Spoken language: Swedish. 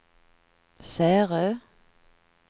Särö